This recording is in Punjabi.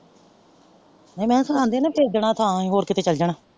ਹੁਣ ਐ ਸੁਣਾਂਦੀ ਆ ਨਾ ਵੇਚਦੇਨਾ ਥਾ ਹੋਰ ਕੀਤੇ ਚਲੇ ਜਾਣਾ।